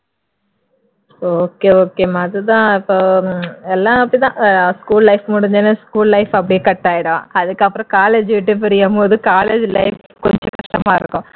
okay okay மா அதுதான் இப்போ எல்லாம் அப்படித்தான் school life முடிஞ்ச உடனே school life அப்படியே cut ஆயிடும் அதுக்கப்புறம் college விட்டு பிரியும்போது college life கொஞ்சம் கஷ்டமா இருக்கும்